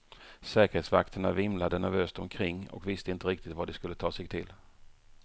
Säkerhetsvakterna vimlade nervöst omkring och visste inte riktigt vad de skulle ta sig till.